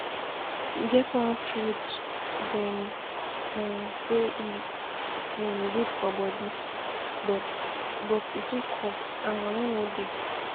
E get one fruit dem um say e um good for body um but but e too cost and money no dey